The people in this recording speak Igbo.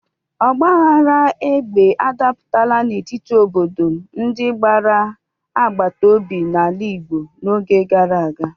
Ọgbaghara egbe adapụtaala n'etiti ọtụtụ obodo ndị gbara agbata obi n'ala Igbo n'oge gara aga.